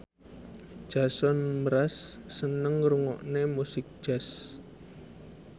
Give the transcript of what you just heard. Jason Mraz seneng ngrungokne musik jazz